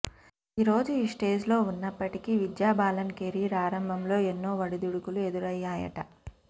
ఈ రోజు ఈ స్టేజ్లో ఉన్నప్పటికీ విద్యాబాలన్ కెరీర్ ఆరంభంలో ఎన్నో ఒడిదొడుకులు ఎదురయ్యాయట